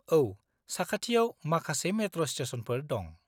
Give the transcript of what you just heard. औ, साखाथियाव माखासे मेट्र' स्टेसनफोर दं।